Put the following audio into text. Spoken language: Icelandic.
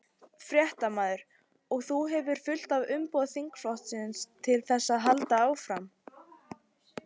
Fréttamaður: Og þú hefur fullt umboð þingflokksins til þess að halda áfram?